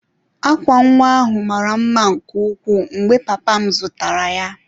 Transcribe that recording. Akwa nwa ahụ mara mma nke ukwuu mgbe papa m zụtara ya.